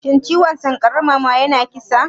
Shin ciwon sankarar mama yana kisa?